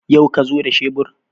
Yau ka zo da shebur?